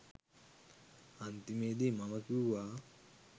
අන්තිමේදී මම කිව්වා